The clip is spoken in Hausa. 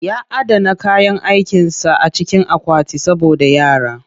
Ya adana kayan aikinsa a cikin akwati saboda yara